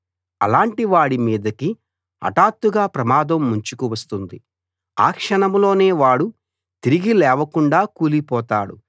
అలాంటివాడి మీదికి హఠాత్తుగా ప్రమాదం ముంచుకు వస్తుంది ఆ క్షణంలోనే వాడు తిరిగి లేవకుండా కూలిపోతాడు